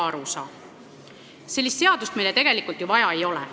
Sellist seadust meile tegelikult vaja ei ole.